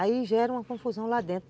Aí gera uma confusão lá dentro.